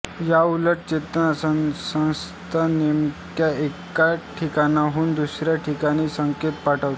याउलट चेतासंस्था नेमक्या एका ठिकाणाहून दुसऱ्या ठिकाणी संकेत पाठवते